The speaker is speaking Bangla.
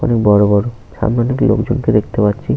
বড় বড় সামনে অনেক লোকজন কে দেখতে পাচ্ছি।